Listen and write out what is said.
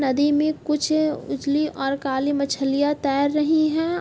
नदी में कुछ उजली और काली मछलियाँ तैर रही हैं।